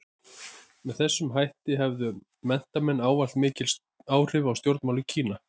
Með þessum hætti höfðu menntamenn ávallt mikil áhrif á stjórnmál í Kína.